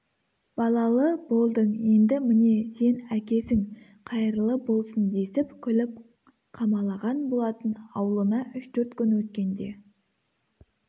балалы болдың енді міне сен әкесің қайырлы болсын десіп күліп қамалаған болатын аулына үш-төрт күн өткенде